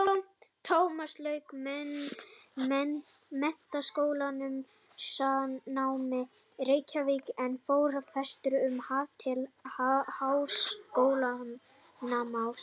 Tómas lauk menntaskólanámi í Reykjavík en fór vestur um haf til háskólanáms.